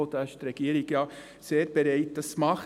Die Regierung ist ja sehr bereit, das zu tun.